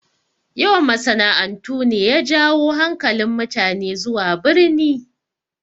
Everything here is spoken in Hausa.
Yawan masana'antu ne ya jawo hankalin mutane zuwa birni